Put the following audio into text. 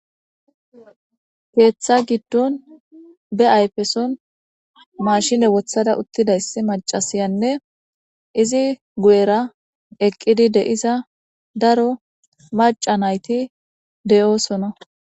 Keeththa giddon be ayfeson mashine wothada uttidayssi macasiyanne izi gu7era eqqidi deiza daro maca nayti deyoosona.